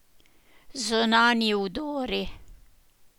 Zunanji vdori.